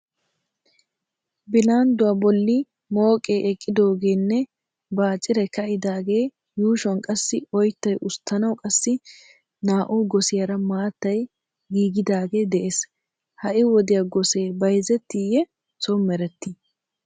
Bilandduwa bolli mooqee eqqidoogeenne baaciray ka"idaagaa yuushuwan qassi oyttay usttanawu qassi naa"u gosiyaara maattay giigidaagee de'ees. Ha"i wodiya gosee bayzettiyee soon merettii?